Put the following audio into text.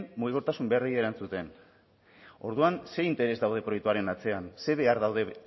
mugikortasun beharrei erantzuten orduan zer interes daude proiektuaren atzean zer behar daude